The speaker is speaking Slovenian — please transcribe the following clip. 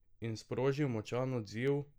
In sprožil močan odziv?